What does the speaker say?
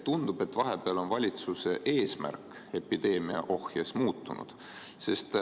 Tundub, et vahepeal on valitsuse eesmärk epideemia ohjes hoidmisel muutunud.